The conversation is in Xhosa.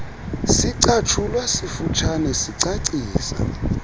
sicatshulwa sifutshane sicacisa